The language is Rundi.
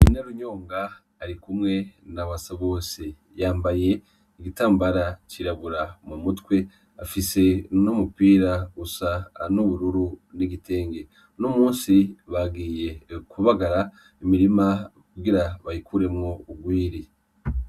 Inerunyonga ari kumwe na wasa bose yambaye igitambara cirabura mu mutwe afise n'umupira usa a n'ubururu n'igitenge n'umusi bagiye kubagara imirima kugira bayikuremwo urwiri.